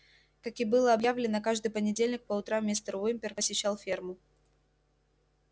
как и было объявлено каждый понедельник по утрам мистер уимпер посещал ферму